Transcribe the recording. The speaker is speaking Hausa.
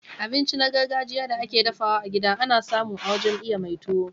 Abinci na gargajiya da ake dafawa a gida ana samu a wajen iya mai tuwo.